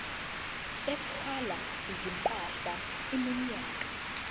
ethwala izimpahla iminyaka